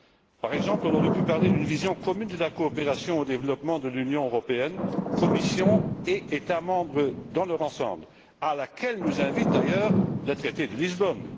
Nous aurions pu parler, par exemple, d'une vision commune de la coopération au développement de l'Union européenne, Commission et États membres dans leur ensemble, à laquelle nous invite d'ailleurs le traité de Lisbonne.